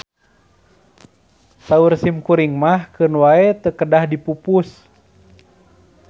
Saur simkuring mah keun wae teu kedah dipupus.